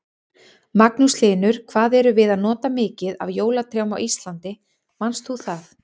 Magnús Hlynur: Hvað erum við að nota mikið af jólatrjám á Íslandi, manst þú það?